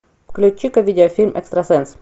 включи ка видеофильм экстрасенс